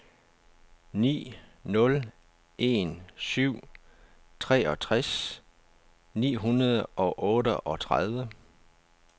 ni nul en syv treogtres ni hundrede og otteogtredive